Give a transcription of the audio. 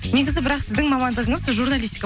негізі бірақ сіздің мамандығыңыз журналистика